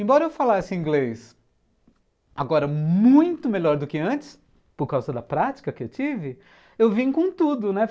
Embora eu falasse inglês, agora muito melhor do que antes, por causa da prática que eu tive, eu vim com tudo, né?